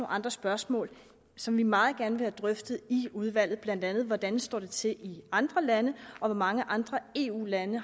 andre spørgsmål som vi meget gerne vil have drøftet i udvalget blandt andet hvordan det står til i andre lande og hvor mange andre eu lande